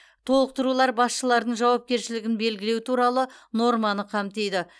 толықтырулар басшылардың жауапкершілігін белгілеу туралы норманы қамтиды